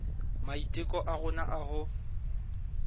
maiteko a rona a ho